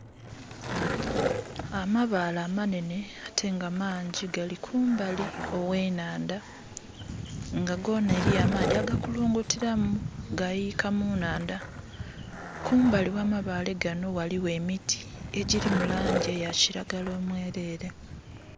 Amabaale amanhenhe ate nga mangyi gali kumbali ogh'enhandha. Nga goona eliyo amaadhi aga kulungutiramu, gayiika mu nhandha. Kumbali gha amabaale gano ghaligho emiti, egyiri mu laangi eya kiragala omwelele.